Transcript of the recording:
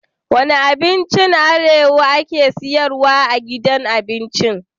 Wane abincin arewa ake siyarwa a gidan abinci?